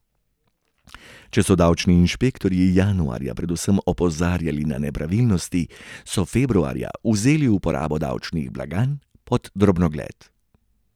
Če so davčni inšpektorji januarja predvsem opozarjali na nepravilnosti, so februarja vzeli uporabo davčnih blagajn pod drobnogled.